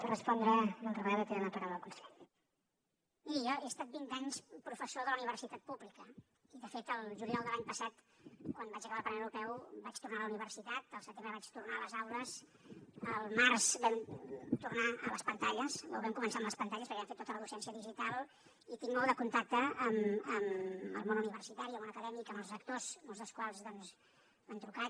miri jo he estat vint anys professor de la universitat pública i de fet el juliol de l’any passat quan vaig acabar al parlament europeu vaig tornar a la universitat al setembre vaig tornar a les aules al març vam tornar a les pantalles o vam començar amb les pantalles perquè vam fer tota la docència digital i tinc molt de contacte amb el món universitari el món acadèmic amb els rectors molts dels quals doncs m’han trucat